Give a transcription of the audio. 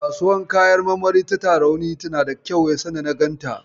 Kasuwar kayan marmari ta Tarauni nada kyau sanda na ganta.